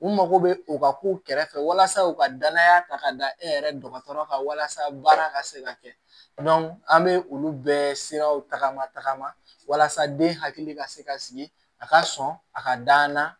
U mago bɛ u ka kow kɛrɛfɛ walasa u ka danaya ta ka da e yɛrɛ dɔgɔtɔrɔ kan walasa baara ka se ka kɛ an bɛ olu bɛɛ siraw tagama tagama walasa den hakili ka se ka sigi a ka sɔn a ka danna